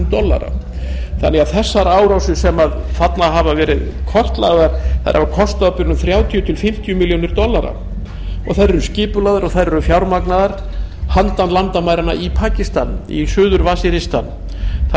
dollara árásirnar sem þarna hafa verið kortlagðar hafa kostað á bilinu þrjátíu til fimmtíu milljónir dollara þær eru skipulagðar og fjármagnaðar handan landamæranna í pakistan í suður til vasiristan þar